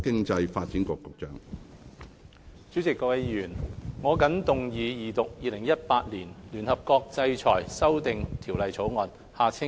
主席、各位議員，我謹動議二讀《2018年聯合國制裁條例草案》。